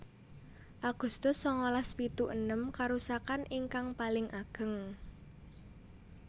Agustus sangalas pitu enem Karusakaan ingkang paling ageng